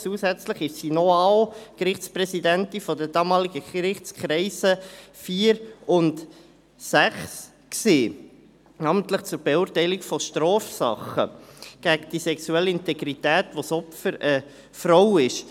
Zusätzlich war sie noch ausserordentliche Gerichtspräsidentin der damaligen Gerichtskreise IV und VI, namentlich zur Beurteilung von Strafsachen gegen die sexuelle Integrität, wo das Opfer eine Frau ist.